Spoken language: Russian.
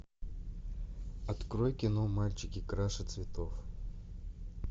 открой кино мальчики краше цветов